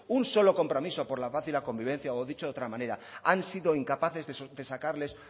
un solo compromiso por la paz y la convivencia o dicho de otra manera han sido incapaces de sacarles